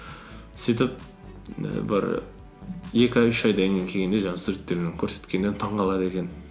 сөйтіп і бір екі ай үш айдан кейін келгенде жаңағы суреттерін көрсеткенде таңғалады екен